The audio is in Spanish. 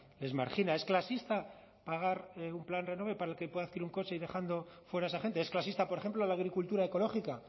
les margina es clasista pagar un plan renove para el que pueda adquirir un coche dejando fuera a esa gente es clasista por ejemplo a la agricultura ecológica